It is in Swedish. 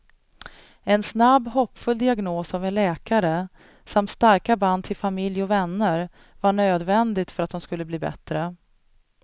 En snabb, hoppfull diagnos av en läkare samt starka band till familj och vänner var nödvändigt för att de skulle bli bättre.